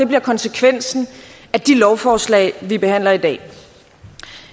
bliver konsekvensen af de lovforslag vi behandler i dag